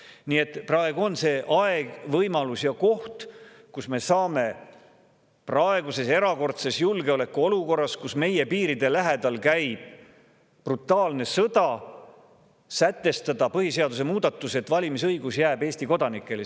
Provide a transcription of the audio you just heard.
Nii et praegu on see aeg, võimalus ja koht, kus me saame praeguses erakordses julgeolekuolukorras, kui meie piiride lähedal käib brutaalne sõda, sätestada põhiseaduse muudatused, et valimisõigus jääks just Eesti kodanikele.